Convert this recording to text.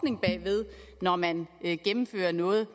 at når man gennemfører noget